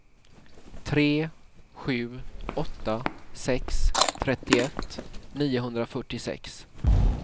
tre sju åtta sex trettioett niohundrafyrtiosex